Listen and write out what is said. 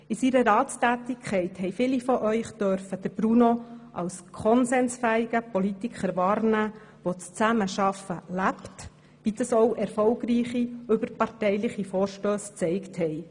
In seiner Ratstätigkeit durften viele von Ihnen Bruno als konsensfähigen Politiker wahrnehmen, der das Zusammenarbeiten lebt, wie dies auch erfolgreiche überparteiliche Vorstösse gezeigt haben.